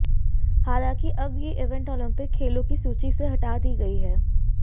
हालांकि अब ये इवेंट ओलंपिक खेलों की सूची से हटा दी गई है